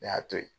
Ne y'a to yen